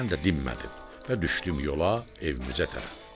Mən də dinmədim və düşdüm yola, evimizə tərəf.